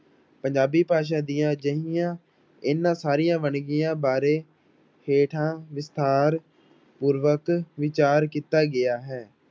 ਪੰਜਾਬੀ ਭਾਸ਼ਾ ਦੀਆਂ ਅਜਿਹੀਆਂ ਇਹਨਾਂ ਸਾਰੀਆਂ ਵੰਨਗੀਆਂ ਬਾਰੇ ਹੇਠਾਂ ਵਿਸਥਾਰ ਪੂਰਵਕ ਵਿਚਾਰ ਕੀਤਾ ਗਿਆ ਹੈ।